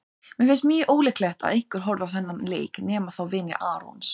Mér finnst mjög ólíklegt að einhver horfi á þennan leik nema þá vinir Arons.